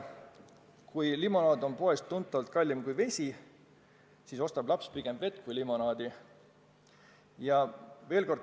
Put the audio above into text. Kui limonaad on poes tunduvalt kallim kui vesi, siis ostab laps pigem vett kui limonaadi.